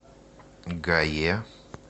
гае